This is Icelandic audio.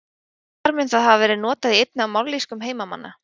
Þar mun það hafa verið notað í einni af mállýskum heimamanna.